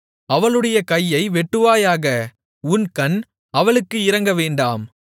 அவளுடைய கையை வெட்டுவாயாக உன் கண் அவளுக்கு இரங்கவேண்டாம்